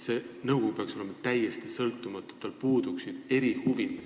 See nõukogu peaks olema täiesti sõltumatu, nii et seal puuduksid erihuvid.